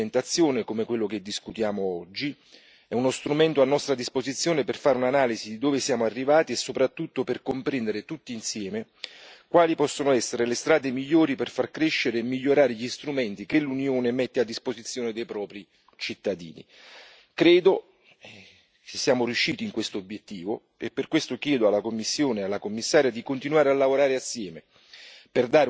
Una relazione di attuazione come quella che discutiamo oggi è uno strumento a nostra disposizione per fare un'analisi di dove siamo arrivati e soprattutto per comprendere tutti insieme quali possono essere le strade migliori per far crescere e migliorare gli strumenti che l'Unione mette a disposizione dei propri cittadini. Credo che siamo riusciti in quest'obiettivo e per questo chiedo alla Commissione e alla Commissaria di continuare a lavorare assieme,